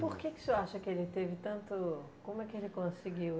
Por que que o senhor acha que ele teve tanto... como é que ele conseguiu?